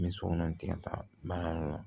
N bɛ sokɔnɔ ten taa baara la